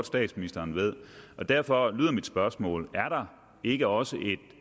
statsministeren ved derfor lyder mit spørgsmål er der ikke også et